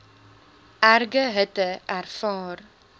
erge hitte ervaar